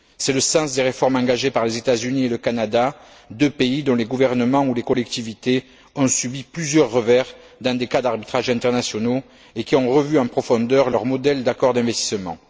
C'est le sens des réformes engagées par les États Unis et le Canada, deux pays dont les gouvernements ou les collectivités ont subi plusieurs revers dans des cas d'arbitrages internationaux, et qui ont revu en profondeur leur modèle d'accord d'investissement.